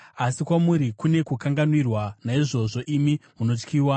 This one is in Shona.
Asi kwamuri kune kukanganwira; naizvozvo imi munotyiwa.